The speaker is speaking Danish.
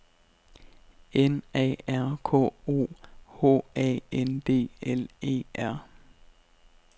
N A R K O H A N D L E R